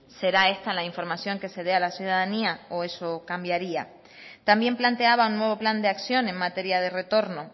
será esta la información que se dé a la ciudadanía o eso cambiaría también planteaba un nuevo plan de acción en materia de retorno